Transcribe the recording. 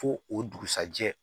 Fo o dugusɛjɛ